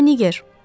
Buda Niger.